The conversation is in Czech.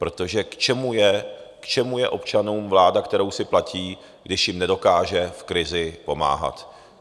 Protože k čemu je občanům vláda, kterou si platí, když jim nedokáže v krizi pomáhat?